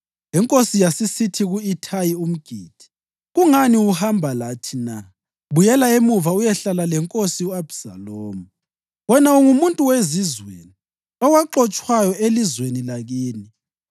Inkosi yasisithi ku-Ithayi umGithi, “Kungani uhamba lathi na? Buyela emuva uyehlala lenkosi u-Abhisalomu. Wena ungumuntu wezizweni, owaxotshwayo elizweni lakini.